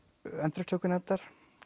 endurupptökunefndar